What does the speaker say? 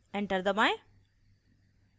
enter दबाएं